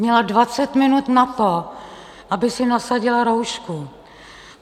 Měla 20 minut na to, aby si nasadila roušku.